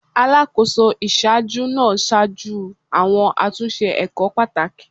Alakoso iṣaaju naa ṣaju awọn atunṣe ẹkọ pataki